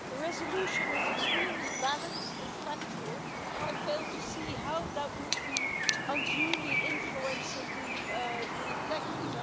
The resolution is extremely balanced and factual and I fail to see how that would be unduly influencing the elections.